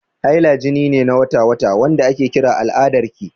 Haila jini ne na wata-wata, wanda ake kira al'adarki.